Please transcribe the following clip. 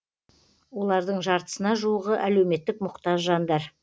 олардың жартысына жуығы әлеуметтік мұқтаж жандар